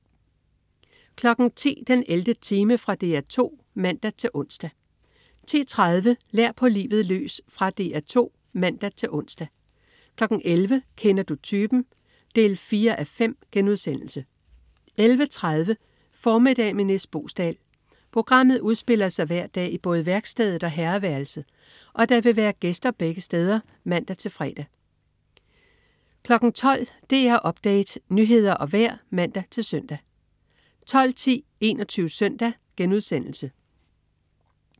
10.00 den 11. time. Fra DR 2 (man-ons) 10.30 Lær på livet løs. Fra DR 2 (man-ons) 11.00 Kender du typen? 4:5* 11.30 Formiddag med Nis Boesdal. Programmet udspiller sig hver dag i både værkstedet og herreværelset, og der vil være gæster begge steder (man-fre) 12.00 DR Update. Nyheder og vejr (man-søn) 12.10 21 Søndag*